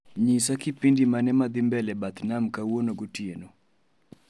Nyisa kipindi mane ma dhii mbele bath nam kawuono gotieno